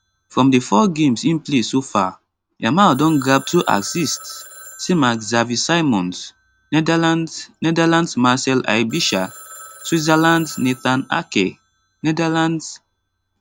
from di four games im play so far yamal don grab 2 assists same as xavi simmons netherlands netherlands marcel aebischer switzerland nathan ake netherlands